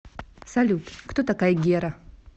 салют кто такая гера